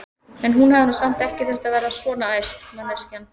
En hún hefði nú samt ekki þurft að verða svona æst, manneskjan!